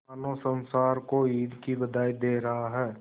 मानो संसार को ईद की बधाई दे रहा है